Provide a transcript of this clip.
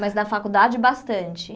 Mas na faculdade, bastante.